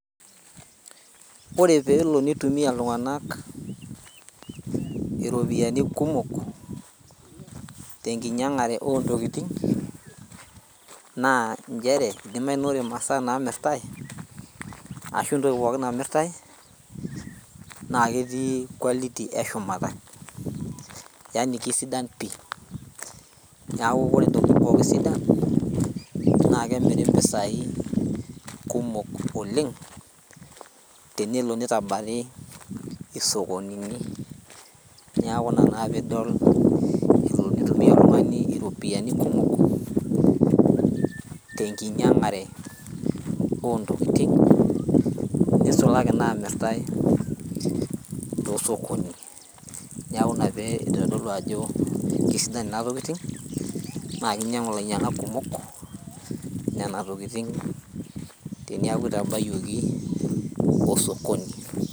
Ore peelo nitumia iltung'anak iropiyiani kumok tenkinyiang'are ontokiting naa nchere idimai naa ore imasaa namirtae ashu entoki pookin namirtae naa ketii quality eshumata yani kisidan pii niaku kore intokiting pookin sidan naa kemiri impisai kumok oleng tenelo nitabari isokonini niaku ina naa piidol elo nitumia oltung'ani iropiani kumok tenkinyiang'are ontokiting nisulaki namirtae tosokoni niaku ina pee idolidolo ajo kisidan ina tokiting naa kinyiang'u ilainyiang'ak kumok nena tokiting teniaku itabayioki osokoni.